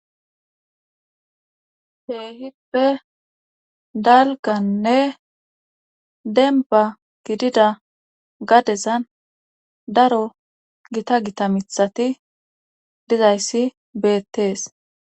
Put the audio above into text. Keehipe dalganne demba gidida gadezan daro gita gita mithati dizayssi beettees